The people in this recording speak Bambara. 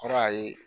Kɔrɔ a ye